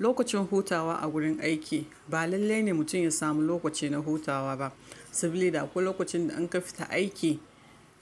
Lokacin hutawa a gurin aiki ba lalle ne mutum ya samu lokaci na hutawa ba. Saboda da akwai lokacin da an ka fita aiki,